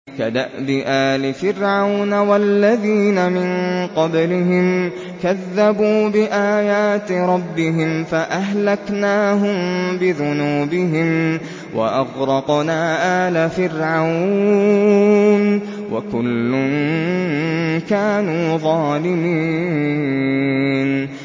كَدَأْبِ آلِ فِرْعَوْنَ ۙ وَالَّذِينَ مِن قَبْلِهِمْ ۚ كَذَّبُوا بِآيَاتِ رَبِّهِمْ فَأَهْلَكْنَاهُم بِذُنُوبِهِمْ وَأَغْرَقْنَا آلَ فِرْعَوْنَ ۚ وَكُلٌّ كَانُوا ظَالِمِينَ